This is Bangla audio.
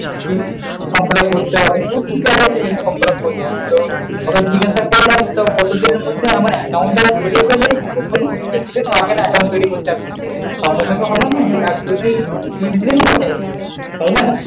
from fillup করতে হবে বললাম ঠিক আছে from fillup করতেছি। তো একটা করে রাখতাম। কতদিনের মধ্যে আমার account টা তৈরী করে দিবেন? বেশিদিন হবে না account তৈরী করতে এখন। সঙ্গে সঙ্গে হবে না এক-দুইদিন দুই-তিনদিন লাগবে।